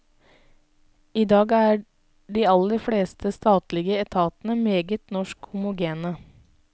I dag er de aller fleste statlige etatene meget norsk homogene.